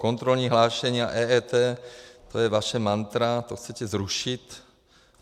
Kontrolní hlášení a EET, to je vaše mantra, to chcete zrušit.